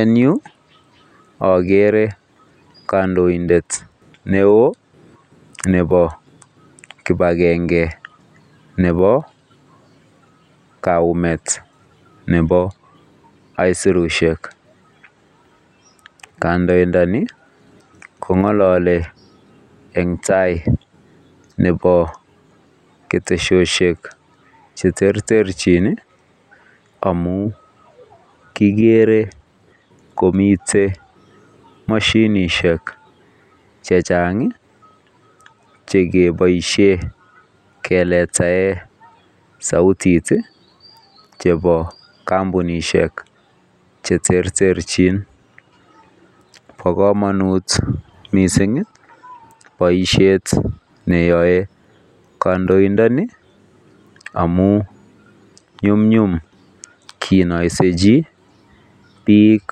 En Yu agere kandoindet neon Nebo kibagenge Nebo kaiyumet Nebo aisurushek kandoindani kongalale en tai Nebo keteshishek cheterterchin amun kigere komiten mashinishek chechang chekibaishen keletaen sautishek chebo kambunishek cheterterchin ba kamanut mising baishet neyae kandoindani amun nyumnyum kenaisi chi bik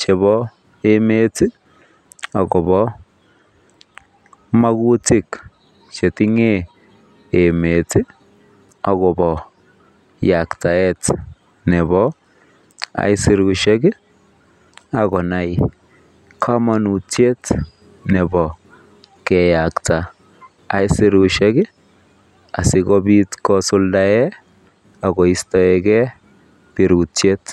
chebo emet akobo makutik chetingen emet akoba yaktaet Nebo aisurushek akonai sirutie Nebo keyakta aisurushek asikobit kosuldaen akoistoi gei birutiet